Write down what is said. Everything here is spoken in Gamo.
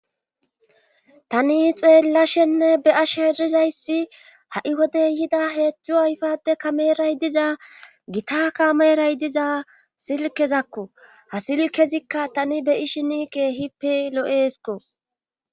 tani xeellashenne be7asher Dizayssi ha7i wodey yida heedzdzu ayfade kameray diza gita kameray diza silkezakko ha silkezikka tani beyi shini geehippe lo7eesko